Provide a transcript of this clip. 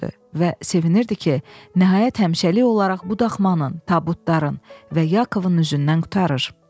və sevinirdi ki, nəhayət həmişəlik olaraq bu daxmanın, tabutların və Yakovun üzündən qurtarır.